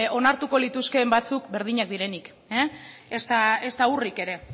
onartuko lituzkeen batzuk berdinak direnik ezta urrik ere